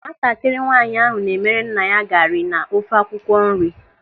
Nwatakịrị nwaanyị ahụ na-emere nna ya gari na ofe akwụkwọ nri.